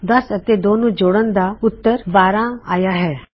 10 ਅਤੇ 2 ਨੂੰ ਜੋੜਣ ਦਾ ਉੱਤਰ ਆਇਆ ਹੈ 12